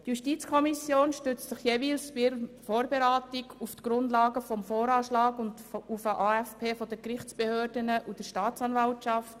Die JuKo stützt sich jeweils in der Vorberatung auf die Grundlage des VA sowie auf den AFP der Gerichtsbehörden und der Staatsanwaltschaft.